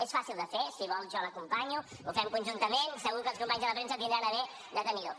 és fàcil de fer si vol jo l’acompanyo ho fem conjuntament segur que els companys de la premsa tindran a bé de tenir ho